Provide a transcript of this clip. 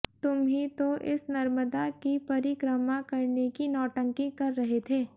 तुम ही तो इस नर्मदा की परिक्रमा करने की नौटंकी कर रहे थे